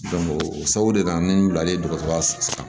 o sabu de la n wulila dɔgɔtɔrɔya